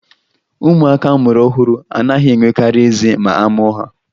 Ụmụaka a mụrụ ọhụrụ anaghị enwekarị eze ma a mụọ ha